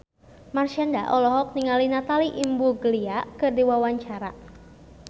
Marshanda olohok ningali Natalie Imbruglia keur diwawancara